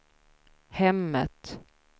hemmet